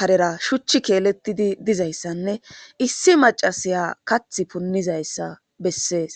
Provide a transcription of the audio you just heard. karera shuchchi keelettidi dizayssanne issi macasiya kath punnizayssa bessees